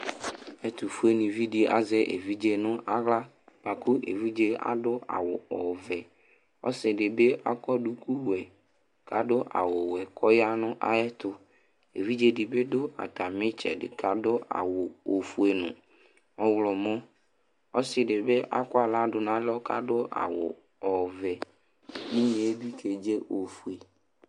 Ɛtʋfuenɩvi dɩ azɛ evidze nʋ aɣla bʋa kʋ evidze yɛ adʋ awʋ ɔvɛ Ɔsɩ dɩ bɩ akɔ dukuwɛ kʋ adʋ awʋwɛ kʋ ɔya nʋ ayɛtʋ Evidze dɩ bɩ dʋ atamɩ ɩtsɛdɩ kʋ adʋ awʋ ofue nʋ ɔɣlɔmɔ Ɔsɩ dɩ bɩ akɔ aɣla dʋ nʋ alɔ kʋ adʋ awʋ ɔvɛ Inye yɛ bɩ kedze ofue